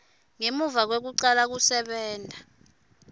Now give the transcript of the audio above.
ngemuva kwekucala kusebenta